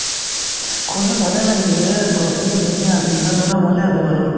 শুনি ভালে লাগিছে process ও ধুনীয়া আছিল এতিয়া ধৰা ভালে আছে বাৰু